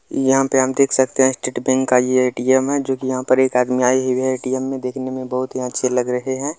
इ यहां पर हम देख सकते हैं कि स्टेट बैंक का एक ए.टी.एम. है जो कि यहां पर एक आदमी आए हुए हैं ए.टी.एम. में देखने में बहुत ही अच्छे लग रहे हैं।